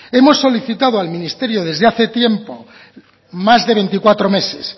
hemos solicitado al ministerio desde hace tiempo más de veinticuatro meses